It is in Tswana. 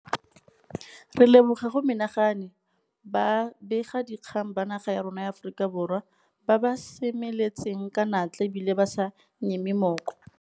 Re leboga go menagane ba begadikgang ba naga ya rona ya Aforika Borwa ba ba seme letseng ka natla e bile ba sa nyeme mooko.